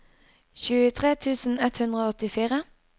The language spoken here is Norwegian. tjuetre tusen ett hundre og åttifire